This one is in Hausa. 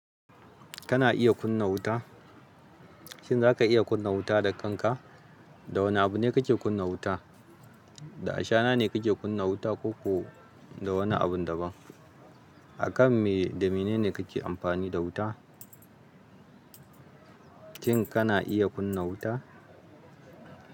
Kana iya kunna wuta? Shin za ka iya kunna wuta da kanka? Da wane abu ne kake kunna wuta? Da ashana ne ka ke kunna wuta? Ko ko da wani abun daban? Akan me da mene ne kake amfani da wuta? Shin kana iya kunna wuta?